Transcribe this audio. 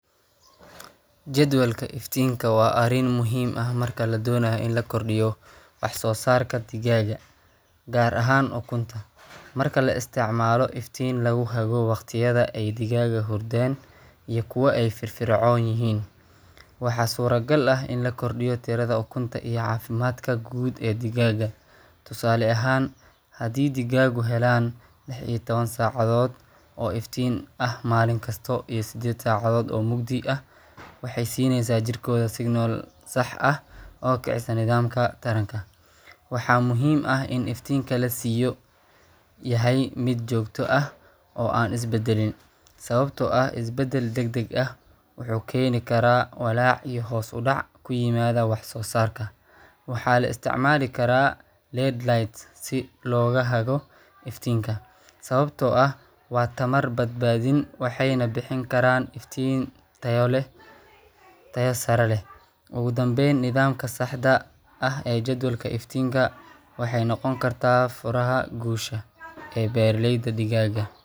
Jadwalka iftiinka waa arrin muhiim ah marka la doonayo in la kordhiyo wax-soo-saarka digaagga, gaar ahaan ukunta. Marka la isticmaalo iftiin lagu hago wakhtiyada ay digaaggu hurdaan iyo kuwa ay firfircoon yihiin, waxaa suuragal ah in la kordhiyo tirada ukunta iyo caafimaadka guud ee digaagga. Tusaale ahaan, haddii digaaggu helaan lix iyo tawan sacadood oo iftiin ah maalin kasta, iyo sedded sacadood oo mugdi ah, waxay siinaysaa jirkooda signal sax ah oo kicisa nidaamka taranka. Waxaa muhiim ah in iftiinka la siiyo yahay mid joogto ah oo aan isbeddelin, sababtoo ah isbeddel deg-deg ah wuxuu keeni karaa walaac iyo hoos u dhac ku yimaada wax-soo-saarka. Waxaa la isticmaali karaa LED lights si loo hago iftiinka, sababtoo ah waa tamar-badbaadin waxayna bixin karaan iftiin tayo sare leh. Ugu dambeyn, nidaaminta saxda ah ee jadwalka iftiinka waxay noqon kartaa furaha guusha ee beeraleyda digaagga.